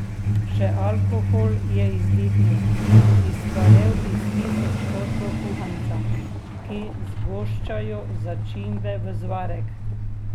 Še alkohol je izdihnil, izparel iz tisoč kotlov kuhanca, ki zgoščajo začimbe v zvarek.